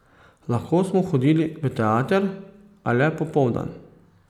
Lahko smo hodili v teater, a le popoldan.